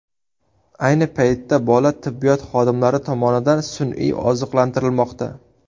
Ayni paytda bola tibbiyot xodimlari tomonidan sun’iy oziqlantirilmoqda.